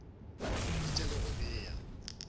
go bitša le go bea